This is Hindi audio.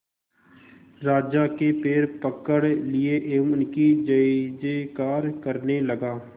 राजा के पैर पकड़ लिए एवं उनकी जय जयकार करने लगा